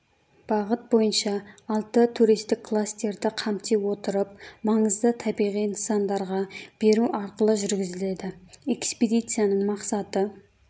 бағыт бойынша алты туристік кластерді қамти отырып маңызды табиғи нысандарға бару арқылы жүргізіледі экспедициясының мақсаты